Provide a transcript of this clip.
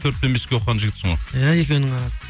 төрт пен беске оқыған жігітсің ғой иә екеуінің арасы